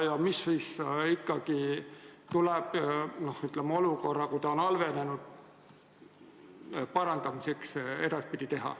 Ja mida ikkagi tuleks olukorras, kui tervis on halvenenud, selle parandamiseks teha?